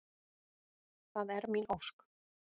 Það er mín ósk.